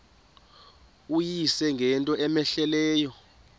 uyise ngento cmehleleyo